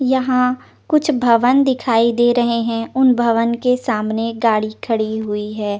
यहा कुछ भवन दिखाई दे रही है उन भवन के सामने गाड़ी खड़ी हुई है ।